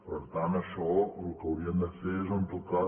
per tant en això el que haurien de fer és en tot cas